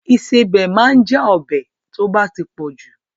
Ìsebẹ̀ ma ń já ọbẹ̀ tó bá pọ̀ jù.